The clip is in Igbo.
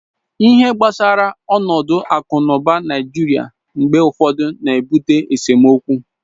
ihe gbasara onodu aku na uba naijiria mgbe ufodu na-ebute esemokwu